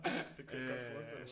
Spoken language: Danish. Det kunne jeg godt forestille mig